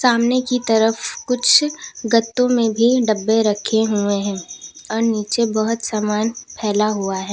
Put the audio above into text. सामने की तरफ कुछ गद्दों में भी डब्बे रखे हुए हैं और नीचे बहोत सामान फैला हुआ है।